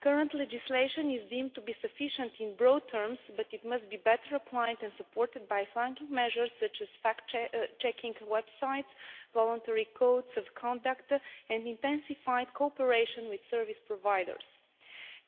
Current legislation is deemed to be sufficient in broad terms, but it must be better applied and supported by flanking measures, such as fact checking websites, voluntary codes of conduct and intensified cooperation with service providers.